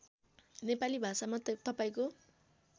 नेपाली भाषामा तपाईँको